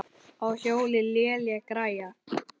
Á hjólum léleg græja.